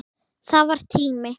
Það var tími.